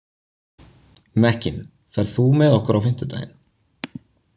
Mekkin, ferð þú með okkur á fimmtudaginn?